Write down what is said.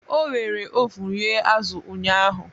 O were ovun rie azụ̀ ụnyahụ